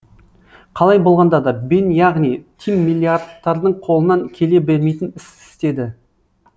қалай болғанда да бен яғни тим миллиардтардың қолынан келе бермейтін іс істеді